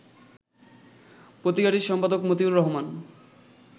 পত্রিকাটির সম্পাদক মতিউর রহমান